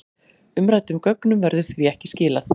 Umræddum gögnum verður því ekki skilað